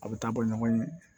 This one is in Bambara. A bɛ taa bɔ ɲɔgɔn ye